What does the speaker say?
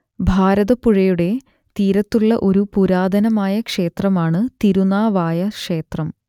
ഭാരതപ്പുഴയുടെ തീരത്തുള്ള ഒരു പുരാതനമായ ക്ഷേത്രമാണ് തിരുനാവായ ക്ഷേത്രം